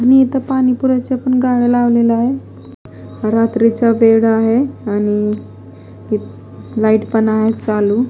इथं पाणीपुराचा पण गाळ लावलेला आहे रात्रीचा वेळ आहे आणि लाईट पण आहे चालू.